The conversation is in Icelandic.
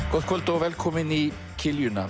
gott kvöld og velkomin í